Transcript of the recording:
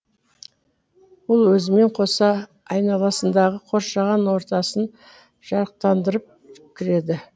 ол өзімен қоса айналасындағы қоршаған ортасын жарықтандырып кіреді